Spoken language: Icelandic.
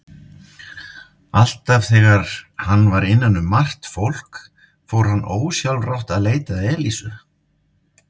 Alltaf þegar hann var innan um margt fólk fór hann ósjálfrátt að leita að Elísu.